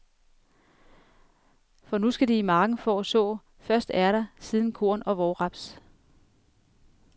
For nu skal de i marken for at så, først ærter, siden korn og vårraps.